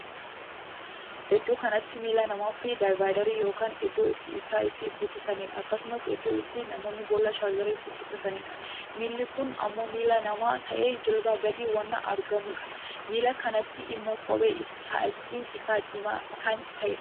Iddoo kanatti miilla namaa fi difayideerii ykn iddoo ittiin ibsaa itti guutattaniidha. akkasumas iddoo itti namoonni boollaa chaarjerii itti guuttataniidha. milli kun ammoo miilla namaa tahee jilbaa gadi waan argamudha. miilla kanatta immoo kophee kaalsiin isaa diimaa kan taheedha.